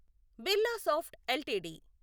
Birlasoft LTD